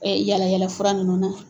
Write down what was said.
yala yala fura nunnu na.